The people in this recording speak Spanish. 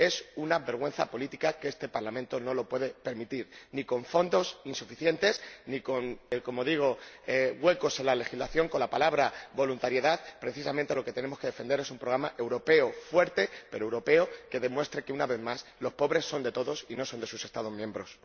Es una vergüenza política que este Parlamento no puede permitir ni fondos insuficientes, ni como digo huecos en la legislación con la palabra voluntariedad. Precisamente lo que tenemos que defender es un programa europeo fuerte, pero europeo, que demuestre que una vez más lo pobres son de todos y no son de sus Estados miembros.